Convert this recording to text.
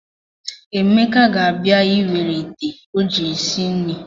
Emeka ga-abịa ịwere ite o ji esi nri.